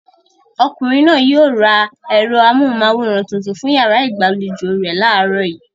Ọkùnrin náà yóò ra ẹ̀rọ amóhùmáwòhán tuntun fún ìyàrá ìgbàlejò rẹ̀ láàárọ̀ yìí.